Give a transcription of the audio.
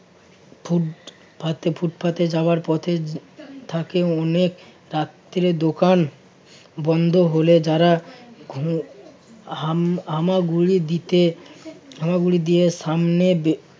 রাতে ফুটপাতে যাওয়ার পথে থাকে অনেক রাত্রে দোকান বন্ধ হলে যারা ঘু হাম~ হামাগুড়ি দিতে~ হামাগুড়ি দিয়ে সামনে